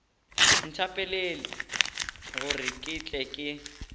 nthapelele gore ke tle ke